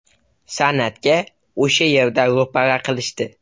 San’atga o‘sha yerda ro‘para qilishdi.